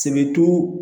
Sɛbɛtu